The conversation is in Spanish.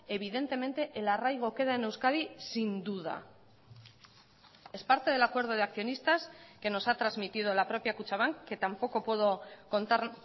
evidentemente el arraigo queda en euskadi sin duda es parte del acuerdo de accionistas que nos ha transmitido la propia kutxabank que tampoco puedo contar